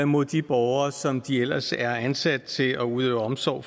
mod de borgere som de ellers er ansat til at udøve omsorg